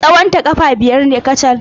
Tsawonta ƙafa biyar ne kacal.